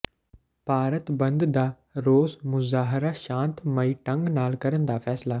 ਭਾਰਤ ਬੰਦ ਦਾ ਰੋਸ ਮੁਜ਼ਾਹਰਾ ਸ਼ਾਂਤਮਈ ਢੰਗ ਨਾਲ ਕਰਨ ਦਾ ਫ਼ੈਸਲਾ